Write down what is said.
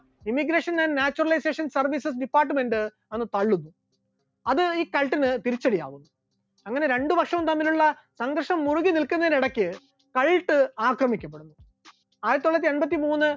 emigration and naturalisation service department അന്ന് തള്ളുകയുണ്ടായി, അത് ഈ കാൾട്ടിന് തിരിച്ചടിയാകുന്നു, അങ്ങനെ രണ്ടുവർഷം തമ്മിലുള്ള സംഘർഷം മുറുകിനിൽക്കുന്നതിനിടക്ക് താഴയിട്ട് ആക്രമിക്കപ്പെടുന്നു, ആയിരത്തിത്തൊള്ളായിരത്തി എൺപത്തിമൂന്ന്